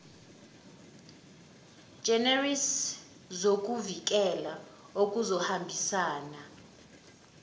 generis zokuvikela okuzohambisana